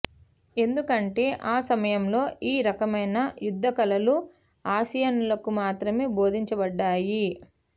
ఎందుకంటే ఆ సమయంలో ఈ రకమైన యుద్ధ కళలు ఆసియన్లకు మాత్రమే బోధించబడ్డాయి